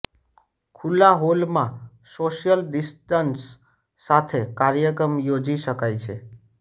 ખુલ્લા હોલમાં social distance સાથે કાર્યક્રમ યોજી શકાય છે